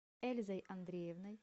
эльзой андреевной